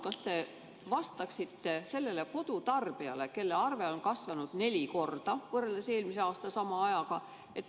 Kas te vastaksite sellele kodutarbijale, kelle arve on kasvanud neli korda võrreldes eelmise aasta sama ajaga?